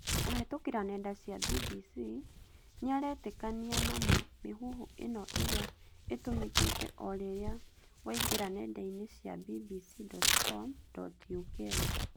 Kũhetũkĩra nenda cia BBC, nĩaretĩkania na mĩhuhu ĩno ĩrĩa ĩtũmĩkĩte orĩrĩa waingĩra nenda inĩ cia bbc.co.uk